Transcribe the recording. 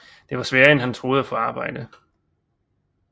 Det var sværere end han troede at få arbejde